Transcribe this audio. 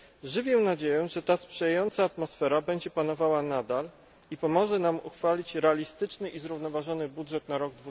Żywię nadzieję, że ta sprzyjająca atmosfera będzie panowała nadal i pomoże nam uchwalić realistyczny i zrównoważony budżet na rok